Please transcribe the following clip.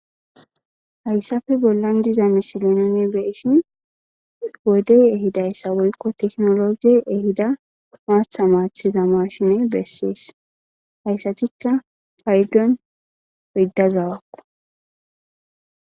Haysappe bollan diza misile nuni beyishn wodey ehidaysa woyko kekinoloje ehida macha machiza mashine beses. Haysatka paydon oydda zawako.